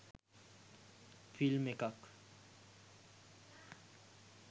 film එකක්